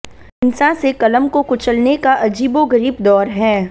हिंसा से क़लम को कुचलने का अजीबोग़रीब दौर है